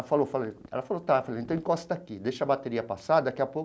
Falou, falei, ela falou, tá, falei então encosta aqui, deixa a bateria passar, daqui a pouco...